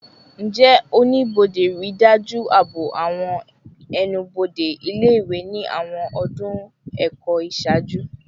Njẹ ẹnu-bode rii daju aabo awọn ẹnu-bode ile-iwe ni awọn ọdun ẹkọ iṣaaju?